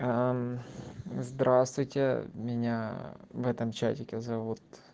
здравствуйте меня в этом чатике зовут